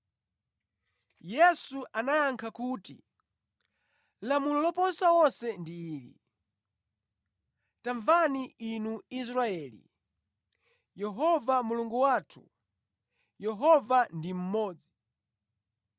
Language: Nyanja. Yesu anayankha kuti, “Lamulo loposa onse ndi ili: ‘Tamvani inu Aisraeli! Yehova Mulungu wathu, Yehova ndi mmodzi!